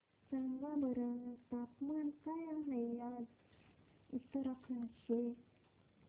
सांगा बरं तापमान काय आहे आज उत्तराखंड चे